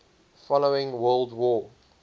following world war